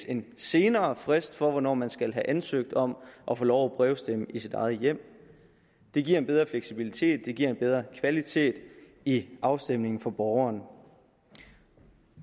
en senere frist for hvornår man skal have ansøgt om at få lov at brevstemme i sit eget hjem det giver en bedre fleksibilitet det giver en bedre kvalitet i afstemningen for borgeren